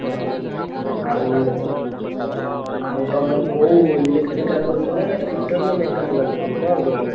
ହଁ ଆଉ ଆଉ ତମେ କୋଉ electrical ରେ କରିବ ନା fitter ନା mechanical କରିବ କଣ କରିବ ଏଠି?